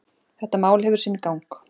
Þetta mál hefur sinn gang.